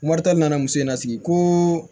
Moritani nana muso in na sigi ko